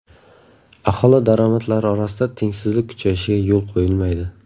Aholi daromadlari orasida tengsizlik kuchayishiga yo‘l qo‘yilmaydi.